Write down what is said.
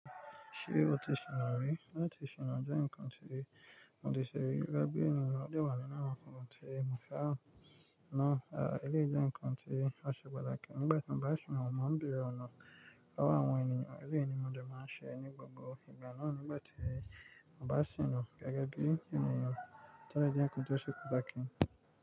Ṣé o ti sìnà rí? Láti sìnà jẹ́ ǹkan tí mo ti ṣe rí, gẹ́gẹ́ bí ènìyàn tó wà ní lára ọkùnrin tó mọ̀ ọ́n náà, àbí ẹlẹ́yi jẹ̀ ǹkan tí a ṣe patà kí ni gbà tí mo bá sìnà, mo máa ń bẹ̀rẹ̀ ọ̀nà lowo àwọn ènìyàn, èleyí ni mo dẹ̀ máa ń ṣe ní gbogbo ìgbà náà nígbà tí mo bá sìnà gẹ́gẹ́ bí ènìyàn tó si jẹ́ ǹkan tó ṣe patàkí n.